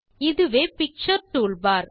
இதுவே picture toolbar